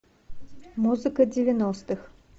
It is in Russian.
музыка девяностых